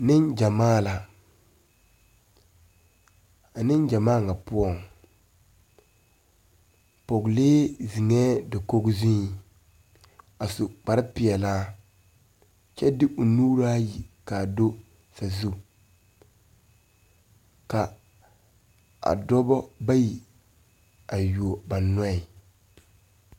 Niŋ gyamaa la a niŋ gyamaa ŋa poɔŋ pɔgelee ziŋɛɛ dakoge zuiŋ a su kpare peɛlaa kyɛ de o nuuraayi kaa do ka a dɔba bayi a yuo ba nyɛ.